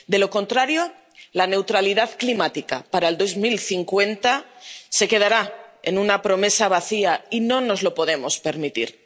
De lo contrario la neutralidad climática para el 2050 se quedará en una promesa vacía, y no nos lo podemos permitir.